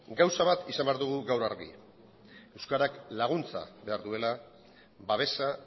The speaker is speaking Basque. gauza bat izan behar dugu gaur argi euskarak laguntza behar duela babesa